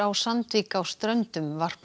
Sandvík á Ströndum varpar